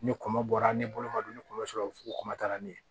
Ni kɔnɔ bɔra ne bolo ma don ni kɔnɔ sɔrɔ fu kɔnɔma taara ne ye